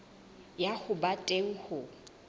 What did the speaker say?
ya ho ba teng ho